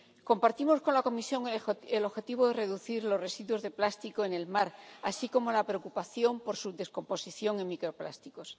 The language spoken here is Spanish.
Compartimos con la Comisión el objetivo de reducir los residuos de plástico en el mar, así como la preocupación por su descomposición en microplásticos.